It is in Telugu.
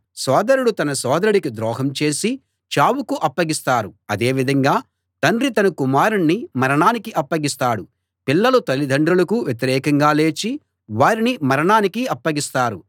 సోదరుడు తన సోదరుడికి ద్రోహం చేసి చావుకు అప్పగిస్తారు అదే విధంగా తండ్రి తన కుమారుణ్ణి మరణానికి అప్పగిస్తాడు పిల్లలు తల్లిదండ్రులకు వ్యతిరేకంగా లేచి వారిని మరణానికి అప్పగిస్తారు